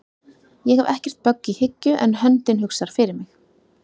Ég hef ekkert bögg í hyggju en höndin hugsar fyrir mig